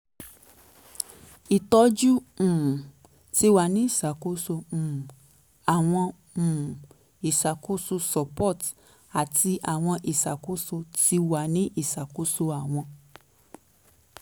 itọju um ti wa ni iṣakoso um awọn um iṣakoso support ati awọn iṣakoso ti wa ni iṣakoso awọn